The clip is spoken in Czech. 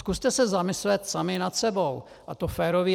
Zkuste se zamyslet sami nad sebou, a to férově.